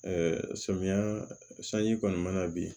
samiyɛ sanji kɔni mana bin